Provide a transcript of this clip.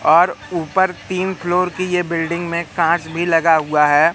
और ऊपर तीन फ्लोर की यह बिल्डिंग में कांच भी लगा हुआ है।